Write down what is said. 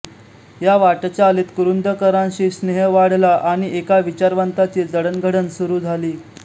या वाटचालीत कुरूंदकरांशी स्नेह वाढला आणि एका विचारवंताची जडणघडण सुरू झाली